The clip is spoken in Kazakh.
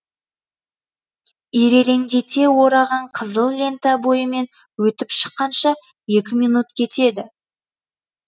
ирелеңдете ораған қызыл лента бойымен өтіп шыққанша екі минут кетеді